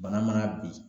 Bana mana bin